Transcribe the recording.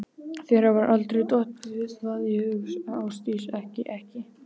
Þér hefur aldrei dottið það í hug Ásdís, ekki. ekki.